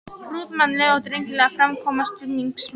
Prúðmannleg og drengileg framkoma stuðningsmanna.